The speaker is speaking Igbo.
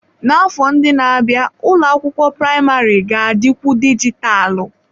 N'afọ ndị na-abịa, ụlọ akwụkwọ praịmarị ga-adikwu dijitalụ.